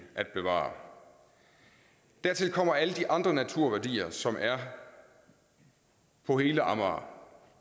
at bevare dertil kommer alle de andre naturværdier som er på hele amager